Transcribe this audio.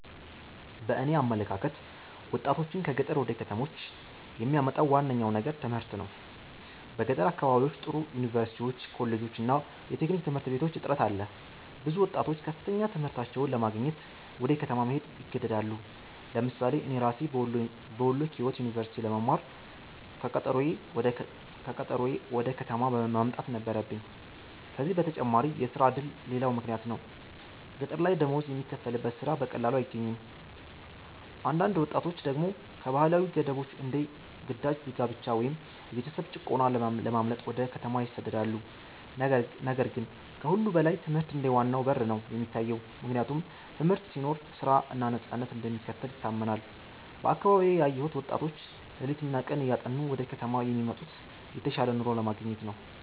በእኔ አመለካከት ወጣቶችን ከገጠር ወደ ከተሞች የሚያመጣው ዋነኛው ነገር ትምህርት ነው። በገጠር አካባቢዎች ጥሩ ዩኒቨርሲቲዎች፣ ኮሌጆች እና የቴክኒክ ትምህርት ቤቶች እጥረት አለ። ብዙ ወጣቶች ከፍተኛ ትምህርታቸውን ለማግኘት ወደ ከተማ መሄድ ይገደዳሉ። ለምሳሌ እኔ ራሴ በወሎ ኪዮት ዩኒቨርሲቲ ለመማር ከቀጠሮዬ ወደ ከተማ መምጣት ነበረብኝ። ከዚህ በተጨማሪ የሥራ ዕድል ሌላው ምክንያት ነው፤ ገጠር ላይ ደሞዝ የሚከፈልበት ሥራ በቀላሉ አይገኝም። አንዳንድ ወጣቶች ደግሞ ከባህላዊ ገደቦች እንደ ግዳጅ ጋብቻ ወይም የቤተሰብ ጭቆና ለማምለጥ ወደ ከተማ ይሰደዳሉ። ነገር ግን ከሁሉ በላይ ትምህርት እንደ ዋናው በር ነው የሚታየው፤ ምክንያቱም ትምህርት ሲኖር ሥራ እና ነፃነት እንደሚከተል ይታመናል። በአካባቢዬ ያየሁት ወጣቶች ሌሊትና ቀን እያጠኑ ወደ ከተማ የሚመጡት የተሻለ ኑሮ ለማግኘት ነው።